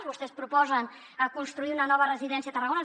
vostès proposen construir una nova residència a tarragona